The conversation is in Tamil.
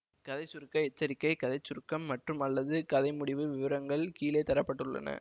கதை சுருக்க எச்சரிக்கை கதை சுருக்கம் மற்றும்அல்லது கதை முடிவு விவரங்கள் கீழே தர பட்டுள்ளன